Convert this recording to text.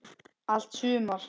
Allt sumar